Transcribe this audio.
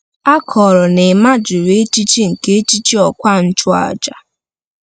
A kọrọ na Emma jụrụ echiche nke echichi ọkwa nchụaja.